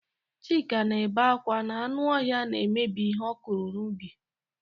Chika na-ebe akwa na anụ ọhịa na-emebi ihe ọ kụrụ n'ubi.